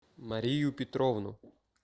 марию петровну